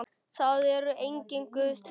Það er enginn Guð til.